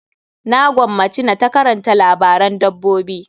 Na gwammaci na ta karanta labaran dabbobi.